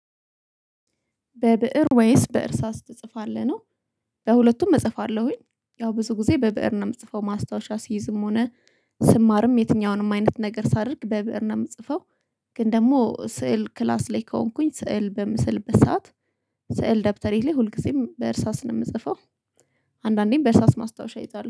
በብእር ወይስ በእርሳስ ትጽፋለህ ነው? በሁለቱም እጽፋለሁኝ ያው ብዙ ጊዜ በብእር ነው እምጽፈው ማስታወሻ ሲይዝም ሆነ ስማርም የትኛውንም አይነት ነገር ሳደርግ በብእር ነው እምጽፈው። ግን ደግሞ ስዕል ክላስ ላይ ከሆንኩኝ ስዕል በምስል በሰአት ስዕል ደብተሬ ላይ ሁልጊዜም በእርሳስ ነው የምጽፈው። አንዳንዴም በእርሳስ ማስታወሻ ይይዛል